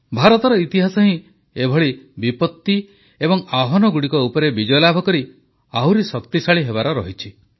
ଭାରତର ଇତିହାସ ହିଁ ଏଭଳି ବିପତ୍ତି ଏବଂ ଆହ୍ୱାନଗୁଡ଼ିକ ଉପରେ ବିଜୟଲାଭ କରି ଆହୁରି ଶକ୍ତିଶାଳୀ ହେବାର ରହିଛି